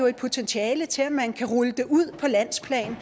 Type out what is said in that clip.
et potentiale til at man kan rulle det ud på landsplan